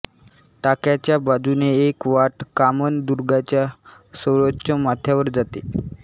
टाक्यांच्या बाजूने एक वाट कामनदुर्गाच्या सर्वोच्च माथ्यावर जाते